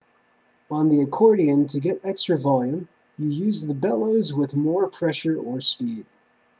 on the accordion to get extra volume you use the bellows with more pressure or speed